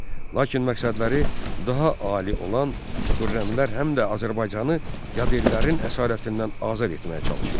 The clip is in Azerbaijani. Lakin məqsədləri daha ali olan xürrəmlər həm də Azərbaycanı yadellilərin əsarətindən azad etməyə çalışırdılar.